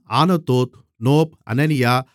Anathoth Nob Hananiah